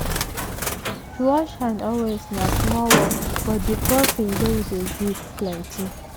to wash hand always na small work but di profit wey e dey give plenty.